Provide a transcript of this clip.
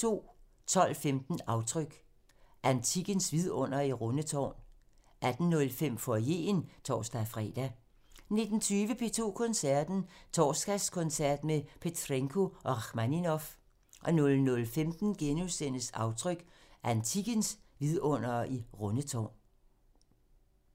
12:15: Aftryk – Antikkens vidundere i Rundetårn 18:05: Foyeren (tor-fre) 19:20: P2 Koncerten – Torsdagskoncert med Petrenko og Rakhmaninov 00:15: Aftryk – Antikkens vidundere i Rundetårn *